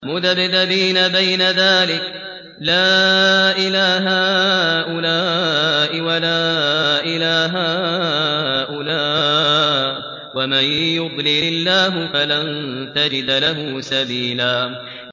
مُّذَبْذَبِينَ بَيْنَ ذَٰلِكَ لَا إِلَىٰ هَٰؤُلَاءِ وَلَا إِلَىٰ هَٰؤُلَاءِ ۚ وَمَن يُضْلِلِ اللَّهُ فَلَن تَجِدَ لَهُ سَبِيلًا